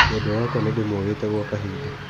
Mwendwa wakwa nĩ ndĩmwagĩte gwa kahinda.